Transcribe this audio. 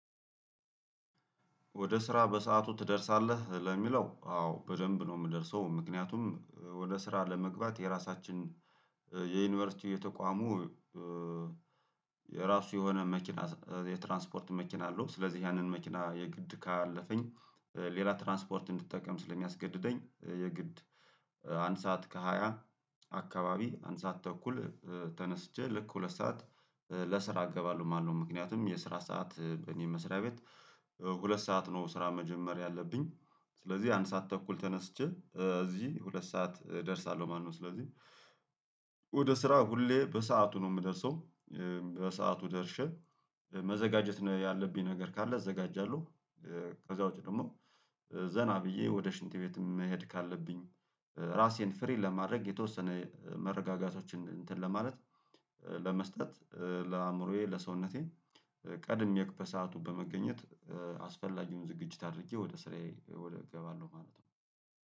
ወደ ስራ በሰአቱ ትደርሳለህ ለሚለው አዎ በደንብ ነው የምደርሰው ምክንያቱም ወደ ስራ ለመግባት የራሳችን የዩኒቨርሲቲ የተቋሙ የራሱ የሆነ መኪና የትራንስፖርት መኪና አለው። ስለዚህ ያንን መኪና የግድ ካለፈኝ ሌላ ትራንስፖርት እንድትጠቀም ስለሚያስገድደኝ የግድ አንድ ሰዓት ከሃያ አካባቢ አንድ ሰዓት ተኩል ተነስቼ ልክ ሁለት ሰዓት ለስራ እገባለሁ ማለት ነው። ምክንያቱም የስራ ሰዓት በእኔ መስሪያ ቤት ሁለት ሰዓት ነው ስራ መጀመር ያለብኝ። ስለዚህ አንድ ሰዓት ተኩል ተነስቼ እዚህ ሁለት ሰዓት እደርሳለሁ ማለት ነው። ስለዚህ ወደ ስራ ሁሌ በሰአቱ ነው የምደርሰው። በሰአቱ ደርሼ መዘጋጀት ያለብኝ ነገር ካለ እዘጋጃለሁ። ከዛ ውጪ ደግሞ ዘና ብዬ ወደ ሽንት ቤትም መሄድ ካለብኝ ራሴን ፍሪ ለማድረግ የተወሰነ መረጋጋቶችን እንትን ለማለት። ለመስጠት ለአእምሮዬ ለሰውነቴ ቀድሜ በሰአቱ በመገኘት አስፈላጊውን ዝግጅት አድርጌ ወደ ስራዬ ወደ እገባለሁ ማለት ነው